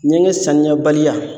Ɲɛgɛn saniya baliya